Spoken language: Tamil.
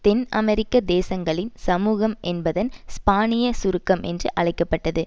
தென் அமெரிக்க தேசங்களின் சமூகம் என்பதன் ஸ்பானிய சுருக்கம் என்று அழைக்க பட்டது